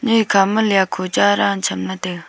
nyoi khama lyakho cha daan chamla taiga.